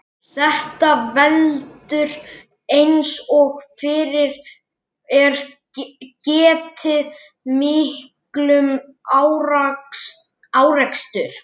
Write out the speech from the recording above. Þetta veldur, eins og fyrr er getið, miklum árekstrum.